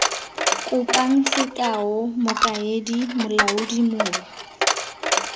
kopang sekao mokaedi molaodi mong